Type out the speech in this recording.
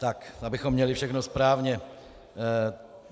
Tak abychom měli všechno správně.